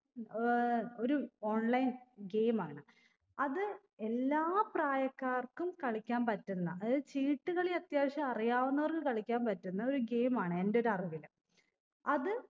ഏർ ഒരു online game ആണ് അത് എല്ലാ പ്രായക്കാർക്കും കളിക്കാൻ പറ്റുന്ന അതായത് ചീട്ട് കളി അത്യാവശ്യം അറിയാവുന്നവർക്ക്‌ കളിക്കാൻ പറ്റുന്ന ഒരു game ആണ് എന്റെ ഒരറിവില് അത്